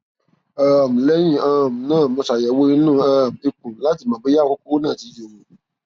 um lẹyìn um náà mo ṣàyẹwò inú um ikùn láti mọ bóyá àwọn kókó náà ti yòrò